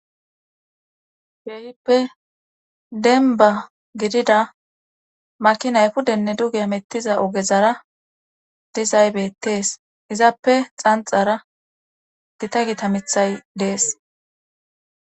Beehippe denba gidida maki naykudenne duge amettiza ogezara dizaybetees izappe xanxara gita gita mithay dees